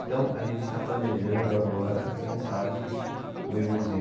Então a gente está planejando agora, quem sabe, um irmãozinho.